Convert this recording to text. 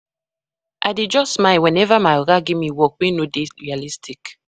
I dey just smile weneva my oga give me work wey no dey realistic.